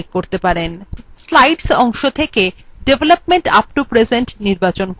slides অংশ থেকে development up to present নির্বাচন করুন